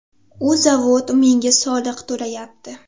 U zavod menga soliq to‘layapti.